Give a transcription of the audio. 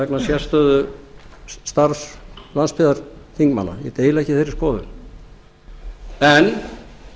vegna sérstöðu starfs landsbyggðarþingmanna ég deili ekki þeirri skoðun en